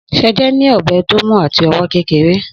Sẹjẹ ní ọbẹ tọ mú àtí ọwọ kẹkẹrẹ